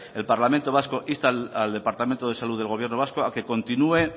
el parlamento vasco insta al departamento de salud del gobierno vasco a que continúe